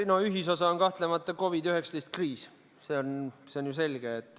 No ühisosa on kahtlemata COVID-19 kriis, see on ju selge.